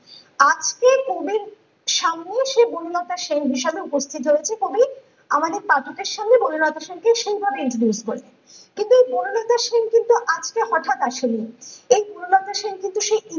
আজকে সেই কবির সামনেই সে বনলতা সেন হিসেবে উপস্থিত হয়েছে কবি আমাদের পাঠকের সামনে বনলতা সেন কে সেই ভাবে introduce করে ।কিন্তু বনলতা সেন কিন্তু আজকে হটাৎ আসেনি ।এই বনলতা সেন কিন্তু সেই